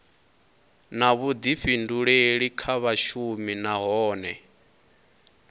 na vhuḓifhinduleli kha vhashumi nahone